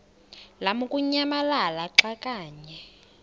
lamukunyamalala xa kanye